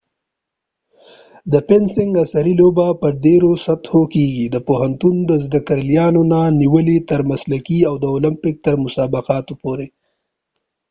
د فینسنګ عصری لوبه په ډیرو سطحو کېږی د پوهنتون د زدکړيالانو نه نیولی تر مسلکې او د اولمپک تر مسابقو پورې